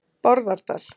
Bárðardal